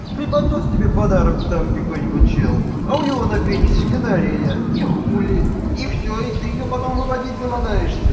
преподнёс тебе подарок там какой-нибудь человек а у него на пенисе гонорея и хули и всё и ты её потом выводить заманаешься